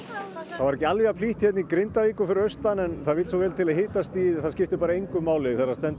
var ekki alveg jafn hlýtt hérna í Grindavík og fyrir austan en það vill svo vel til að hitastigið það skiptir bara engu máli þegar það stendur